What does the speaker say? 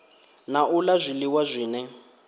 na u la zwiliwa zwine